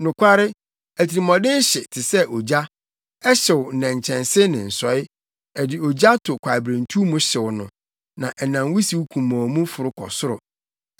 Nokware, atirimɔden hye te sɛ ogya; ɛhyew nnɛnkyɛnse ne nsɔe, ɛde ogya to kwaeberentuw mu hyew no, na ɛnam wusiw kumɔnn mu foro kɔ soro.